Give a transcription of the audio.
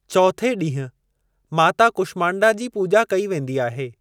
चौथे ॾींहं माता कुष्मांडा जी पूॼा कई वेंदी आहे।